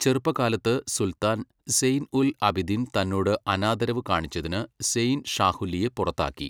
ചെറുപ്പകാലത്ത് സുൽത്താൻ സെയ്ൻ ഉൽ അബിദിൻ തന്നോട് അനാദരവ് കാണിച്ചതിന് സെയ്ൻ ഷാഹ്വല്ലിയെ പുറത്താക്കി.